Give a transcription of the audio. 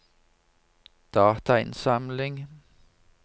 datainnsamling